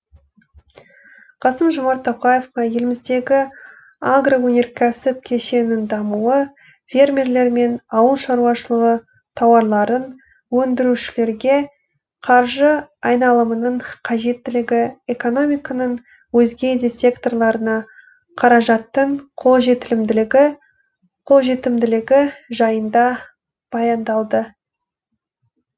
қасым жомарт тоқаевқа еліміздегі агроөнеркәсіп кешенінің дамуы фермерлер мен ауыл шаруашылығы тауарларын өндірушілерге қаржы айналымының қажеттілігі экономиканың өзге де секторларына қаражаттың қолжетімділігі жайында баяндалды